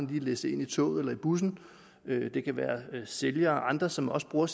lige læsse ind i toget eller i bussen det kan være sælgere og andre som også bruger